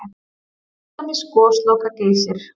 Til dæmis Gosloka-Geysir?